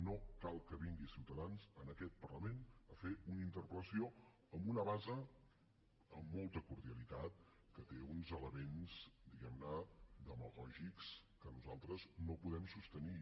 no cal que vingui ciutadans en aquest parlament a fer una interpel·lació amb una base amb molta cordialitat que té uns elements diguem ne demagògics que nosaltres no podem sostenir